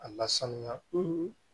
A lasanuya